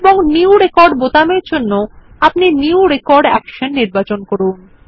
এবং new record বোতাম এর জন্য আপনি নিউ রেকর্ড অ্যাকশন নির্বাচন করুন